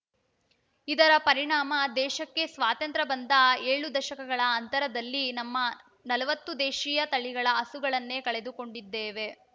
ಇದರ ಪರಿಣಾಮ ದೇಶಕ್ಕೆ ಸ್ವಾತಂತ್ರ್ಯ ಬಂದ ಏಳು ದಶಕಗಳ ಅಂತರದಲ್ಲಿ ನಮ್ಮ ನಲವತ್ತು ದೇಶೀಯ ತಳಿಗಳ ಹಸುಗಳನ್ನೇ ಕಳೆದುಕೊಂಡಿದ್ದೇವೆ